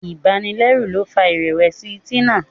ibanilẹru ló fà irẹwẹsi Tina.